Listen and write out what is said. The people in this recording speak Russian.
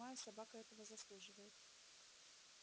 я понимаю собака этого заслуживает